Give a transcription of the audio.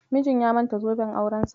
Mijin ya manta zoben aurensa.